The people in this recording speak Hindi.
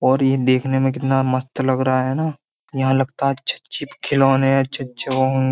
और ये देखने में कितना मस्त लग रहा है न। यहाँ लगता है अच्छे-अच्छे खिलौने हैं। अच्छे-अच्छे वोहो --